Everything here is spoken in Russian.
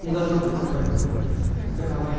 не должно быть такой таковой